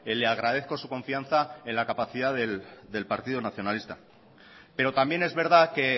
le agradezco su confianza en la capacidad del partido nacionalista pero también es verdad que